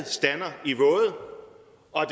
og